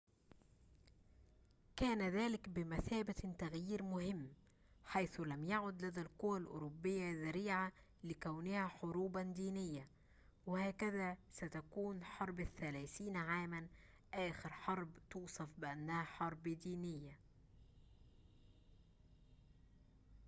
كان ذلك بمثابةِ تغييرٍ مهمٍ حيث لم يعد لدى القوى الأوروبية ذريعة لكونها حروباً دينية وهكذا ستكون حرب الثلاثين عاماً آخر حربٍ توصف بأنها حرب دينية